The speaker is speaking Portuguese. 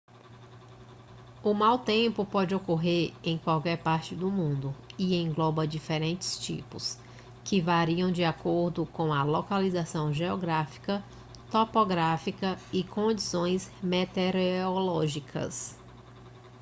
o mau tempo pode ocorrer em qualquer parte do mundo e engloba diferentes tipos que variam de acordo com a localização geográfica topografia e condições meteorológicas